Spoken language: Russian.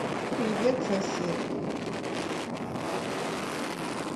привет сосед